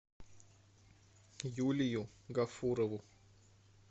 юлию гафурову